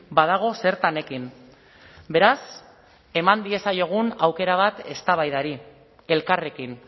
badago zertan ekin beraz eman diezaiogun aukera bat eztabaidari elkarrekin